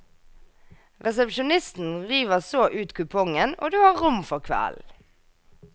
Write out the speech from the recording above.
Resepsjonisten river så ut kupongen og du har rom for kvelden.